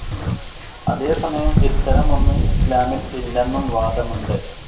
അതേസമയം ഇത്തരമൊന്നു ഇസ്‌ലാമിൽ ഇല്ലെന്നും വാദമുണ്ട്.